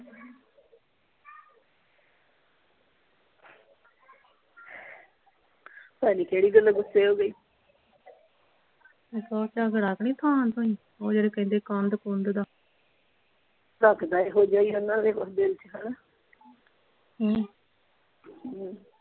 ਪਤਾ ਨਹੀਂ ਕਿਹੜੀ ਗੱਲੋਂ ਗੁੱਸੇ ਹੋ ਗਈ ਇੱਕ ਓਹ ਝਗੜਾ ਤਾਂ ਨਹੀਂ ਥਾਂ ਤੋਂ ਸੀ ਓਹ ਜਿਹੜੇ ਕਹਿੰਦੇ ਕੰਧ ਕੂੰਧ ਦਾ ਲੱਗਦਾ ਇਹੋ ਜਿਹਾ ਹੀ ਆ ਇਹਨਾਂ ਦੇ ਕੁਛ ਦਿਲ ਚ ਹਣਾ ਹਮ ਹਮ।